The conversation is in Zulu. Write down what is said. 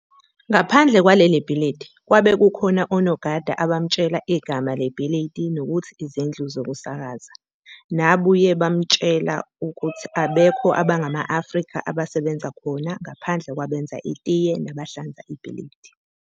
Ngaphandle kwaleli bhilidi kwabe kukhona onogada abamutshela igama lebhilidi nokuthi izindlu zokusakaza, nabuye bamtshela ukuthi abekho abangama-Afrika abasebenza khona ngaphandela kwabenza itiye naba hlanza ibhilidi.